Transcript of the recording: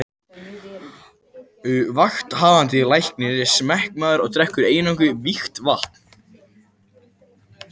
Vakthafandi Læknir er smekkmaður og drekkur eingöngu vígt vatn.